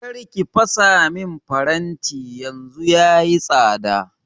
kar ki fasa min faranti yanzu yayi tsada